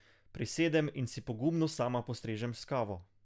Prisedem in si pogumno sama postrežem s kavo.